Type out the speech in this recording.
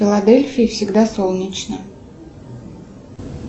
в филадельфии всегда солнечно